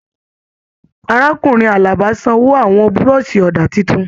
Arákùnrin Àlàbá sanwó àwọn burọ̀sì ọ̀dà títún.